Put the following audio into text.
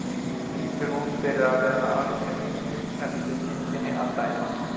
Lítur út fyrir að vera alger engill eftir myndinni að dæma.